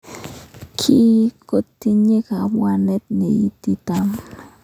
kii kotinye kabwanet neititaat.